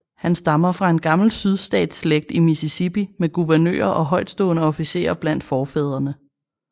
Han stammer fra en gammel sydstatsslægt i Mississippi med guvernører og højtstående officerer blandt forfædrene